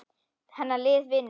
Hennar lið vinnur.